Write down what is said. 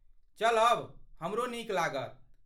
चलब, हमरो नीक लागत।